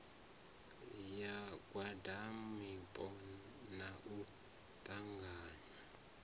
ya ngwaniwapo na u ṱanganywa